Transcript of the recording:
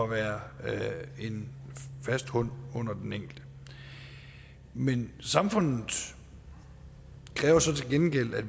være en fast grund under den enkelte men samfundet kræver så til gengæld at